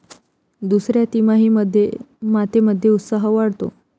दुसऱ्या तिमाहीमध्ये मातेमध्ये उत्साह वाढतो.